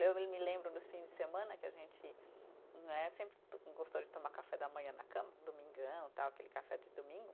Eu e me lembro, nos fins de semana, que a gente né, sempre to, gostou de tomar café da manhã na cama, domingão, tal, aquele café de domingo.